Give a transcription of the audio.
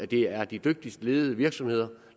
det er de dygtigst ledede virksomheder